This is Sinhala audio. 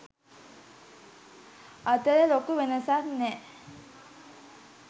අතර ලොකු වෙනසක් නැහැ.